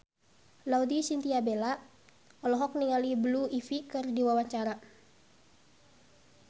Laudya Chintya Bella olohok ningali Blue Ivy keur diwawancara